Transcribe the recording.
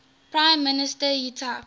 prime minister yitzhak